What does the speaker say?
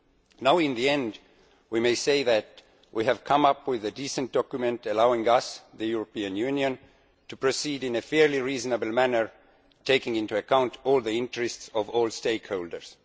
We can finally say that we have come up with a decent document allowing us, the European Union, to proceed in a fairly reasonable manner, taking into account all the interests of all stakeholders.